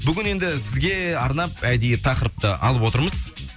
бүгін енді сізге арнап әдейі тақырыпты алып отырмыз